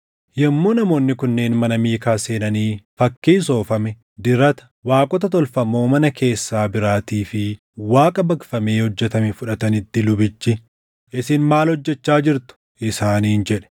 Yommuu namoonni kunneen mana Miikaa seenanii fakkii soofame, dirata, waaqota tolfamoo mana keessaa biraatii fi Waaqa baqfamee hojjetame fudhatanitti lubichi, “Isin maal hojjechaa jirtu?” Isaaniin jedhe.